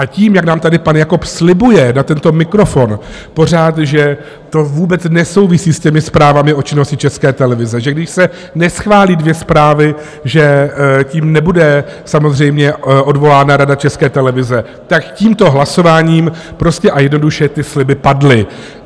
A tím, jak nám tady pan Jakob slibuje na tento mikrofon pořád, že to vůbec nesouvisí s těmi zprávami o činnosti České televize, že když se neschválí dvě zprávy, že tím nebude samozřejmě odvolána Rada České televize, tak tímto hlasováním prostě a jednoduše ty sliby padly.